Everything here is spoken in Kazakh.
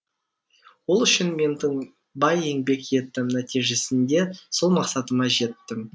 ол үшін мен тыңбай еңбек еттім нәтижесінде сол мақсатыма жеттім